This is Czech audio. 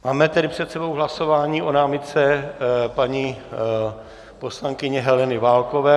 Máme tedy před sebou hlasování o námitce paní poslankyně Heleny Válkové.